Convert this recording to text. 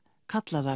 kalla það